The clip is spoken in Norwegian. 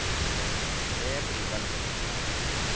Det blir vel moro?